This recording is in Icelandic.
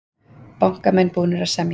Bankamenn búnir að semja